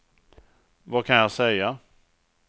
vad kan jag säga